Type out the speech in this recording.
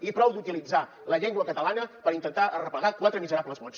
i prou d’utilitzar la llengua catalana per intentar arreplegar quatre miserables vots